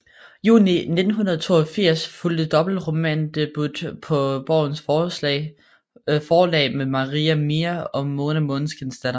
Juni 1982 fulgte dobbelt romandebut på Borgens Forlag med Maria Mia og Mona Måneskinsdatter